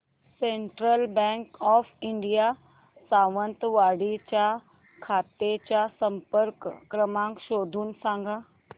central bank of India Sawantwadi च्या शाखेचा संपर्क क्रमांक शोधून सांग